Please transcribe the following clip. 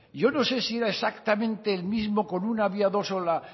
yo no sé si era exactamente el mismo con un